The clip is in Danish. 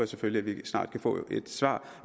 selvfølgelig at vi snart kan få et svar